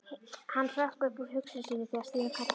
Hann hrökk upp úr hugsunum sínum þegar Stína kallaði.